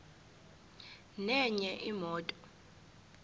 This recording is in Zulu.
nenye imoto